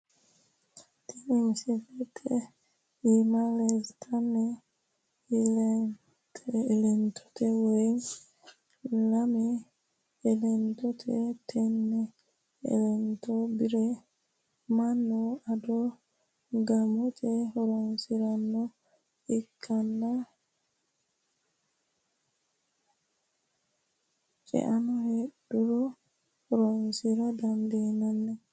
Tini misilete iima leellannoti elentiwate woy lame elentooti tenne elento bire manni ado qaamate horoonsirannoha ikkanna caano heedhuro horoonsira dandiinanni.